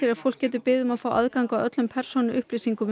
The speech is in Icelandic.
að fólk getur beðið um að fá aðgang að öllum persónuupplýsingum